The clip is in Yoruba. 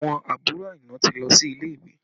Àwọn àbúrò Aina ti lọ sí ilé ìwé